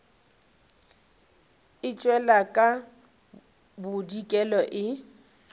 e tšwela ka bodikela e